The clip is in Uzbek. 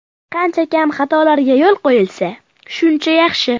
Qancha kam xatolarga yo‘l qo‘yilsa, shuncha yaxshi.